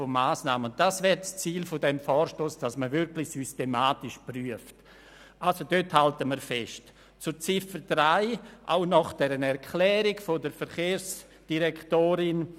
Wer die Ziffer 1 der Motion annimmt, stimmt Ja, wer dies ablehnt, stimmt Nein.